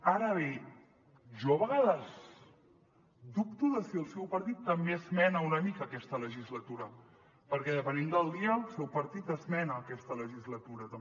ara bé jo a vegades dubto de si el seu partit també esmena una mica aquesta legislatura perquè depenent del dia el seu partit esmena aquesta legislatura també